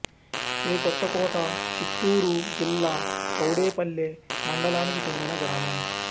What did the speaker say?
ఏ కొత్తకోట చిత్తూరు జిల్లా చౌడేపల్లె మండలానికి చెందిన గ్రామం